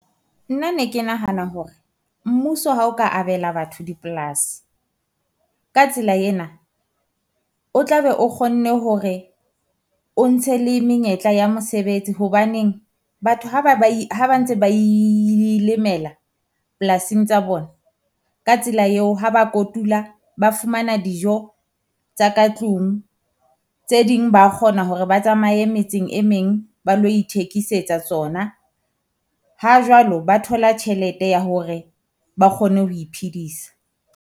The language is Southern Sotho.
Nna ne ke nahana hore mmuso ha o ka abela batho di-plaas, ka tsela ena o tla be o kgonne hore o ntshe le menyetla ya mosebetsi hobaneng. Batho ha ba ba e ha ba ntse ba ilmela polasing tsa bona, ka tsela eo ha ba kotula, ba fumana dijo tsa ka tlung tse ding, ba kgona hore ba tsamaye metseng e meng ba lo ithekisetsa tsona. Ha jwalo ba thola tjhelete ya hore ba kgone ho iphedisa.